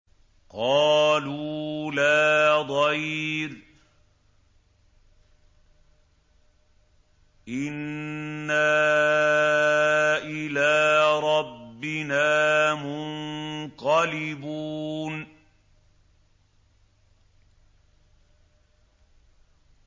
قَالُوا لَا ضَيْرَ ۖ إِنَّا إِلَىٰ رَبِّنَا مُنقَلِبُونَ